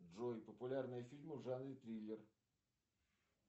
джой популярные фильмы в жанре триллер